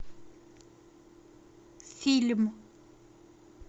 фильм